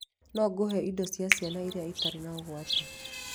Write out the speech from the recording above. No ngũhe indo cia ciana iria itarĩ na ũgwati?